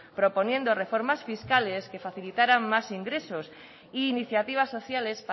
proponiendo reformas fiscales que facilitarán más ingresos e iniciativas sociales